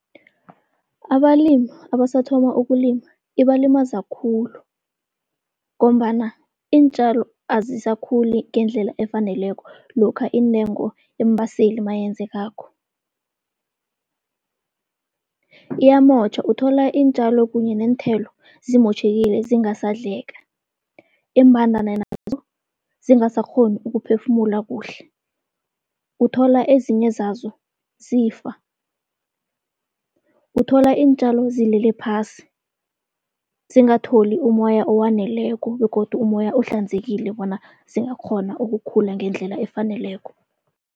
Abalimu abasathoma ukulima ibalimaza khulu, ngombana iintjalo azisakhuli ngendlela efaneleko lokha intengo yeembaseli mayenzekako. Iyamotjha, uthola iintjalo kunye neenthelo zimotjhekile zingasadleka. Iimbandana nazo zingasakghoni ukuphefumula kuhle, uthola ezinye zazo zifa. Uthola iintjalo zilele phasi, zingatholi umoya owaneleko begodu umoya ohlanzekile bona zingakghona ukukhula ngendlela efaneleko.